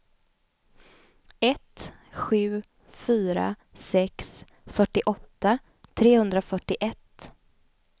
ett sju fyra sex fyrtioåtta trehundrafyrtioett